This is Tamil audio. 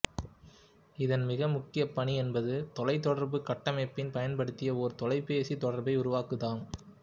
இதன் மிக முக்கிய பணி என்பது தொலைத்தொடர்பு கட்டமைப்பினை பயன்படுத்தி ஒரு தொலைபேசி தொடர்பை உருவாக்குதாகும்